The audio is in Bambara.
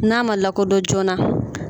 N'a man lakɔdɔn joona